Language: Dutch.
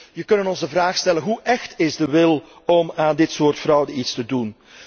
Dus wij kunnen ons de vraag stellen hoe écht is de wil om aan dit soort fraude iets te doen?